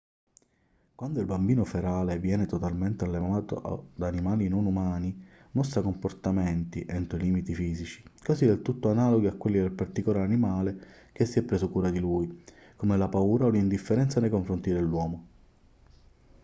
quando il bambino ferale viene totalmente allevato da animali non umani mostra comportamenti entro i limiti fisici quasi del tutto analoghi a quelli del particolare animale che si è preso cura di lui come la paura o l'indifferenza nei confronti dell'uomo